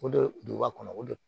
O de duba kɔnɔ o de don